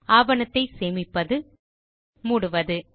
ஆவணத்தை சேமிப்பது மூடுவது